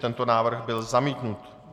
Tento návrh byl zamítnut.